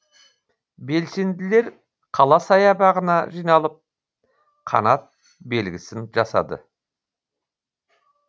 белсенділер қала саябағына жиналып қанат белгісін жасады